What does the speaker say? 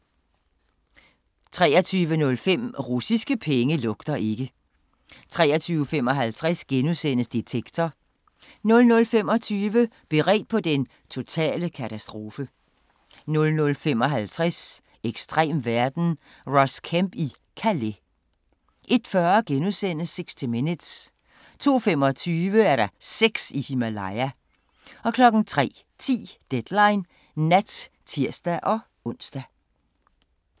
23:05: Russiske penge lugter ikke 23:55: Detektor * 00:25: Beredt på den totale katastrofe 00:55: Ekstrem verden – Ross Kemp i Calais 01:40: 60 Minutes * 02:25: Sex i Himalaya 03:10: Deadline Nat (tir-ons)